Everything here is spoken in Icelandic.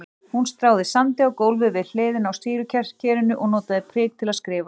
Hún stráði sandi á gólfið við hliðina á sýrukerinu og notaði prik til að skrifa.